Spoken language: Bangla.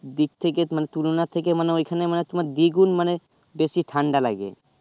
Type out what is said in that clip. দিক থেকে মানে তুলোনা থেকে মানে ঐ খানে দ্বিগুণ মানে বেশি ঠাণ্ডা লাগে